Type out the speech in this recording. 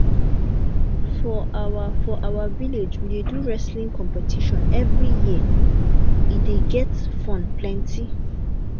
for our for our village we dey do wrestling competition every year e dey get fun plenty